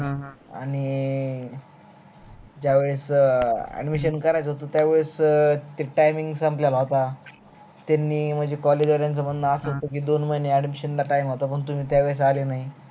आणि ज्या वेळेस admission करायचा होता त्या वेळेस timing संपलेला होत त्यांनी म्हणजे college वाल्यांच म्हणन अस होत कि दोन महिने admission ला time होता त्यावेळेस तुम्ही आले नाही